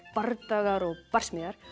bardagar og barsmíðar